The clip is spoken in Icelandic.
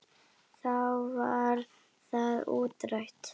Þá var það útrætt.